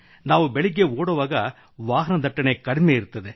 ನಾವು ಬೆಳಿಗ್ಗೆ ಓಡುವಾಗ ವಾಹನ ದಟ್ಟಣೆ ಕಡಿಮೆ ಇರುತ್ತದೆ